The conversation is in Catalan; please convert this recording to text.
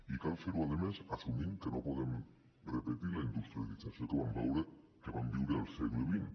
i cal fer ho a més assumint que no podem repetir la industrialització que vam viure al segle xx